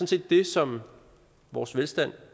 set det som vores velstand